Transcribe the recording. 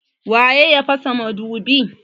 waye ya pasa madubi?